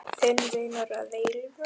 Þinn vinur að eilífu.